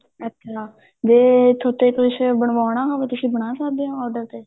ਅੱਛਾ ਜੇ ਤੁਹਾਤੇ ਕੁੱਝ ਬਣਵਾਉਣਾ ਹੋਵੇ ਤੁਸੀਂ ਬਣਾ ਸਕਦੇ ਓ order ਤੇ